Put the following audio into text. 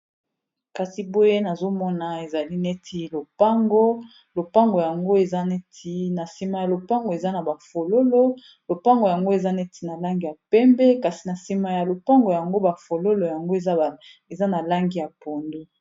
Kasi boye nazomona ezali neti lopango, lopango yango eza neti na nsima ya lopango eza na ba fololo lopango yango eza neti na langi ya pembe kasi na nsima ya lopango yango ba fololo yango eza na langi ya pondu.